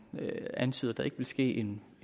antyder at der ikke vil ske en